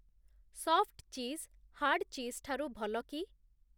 Soft cheese hard cheese ଠାରୁ ଭଲ କି?